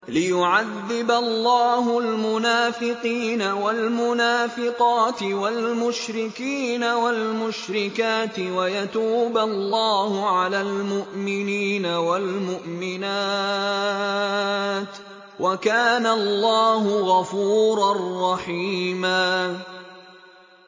لِّيُعَذِّبَ اللَّهُ الْمُنَافِقِينَ وَالْمُنَافِقَاتِ وَالْمُشْرِكِينَ وَالْمُشْرِكَاتِ وَيَتُوبَ اللَّهُ عَلَى الْمُؤْمِنِينَ وَالْمُؤْمِنَاتِ ۗ وَكَانَ اللَّهُ غَفُورًا رَّحِيمًا